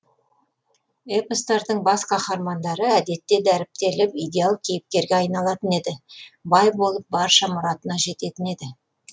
эпостардың бас қаһармандары әдетте дәріптеліп идеал кейіпкерге айналатын еді бай болып барша мұратына жететін еді